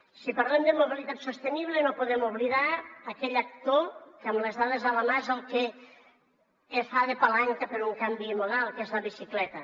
si parlem de mobilitat sostenible no podem oblidar aquell actor que amb les dades a la mà és el que fa de palanca per un canvi modal que és la bicicleta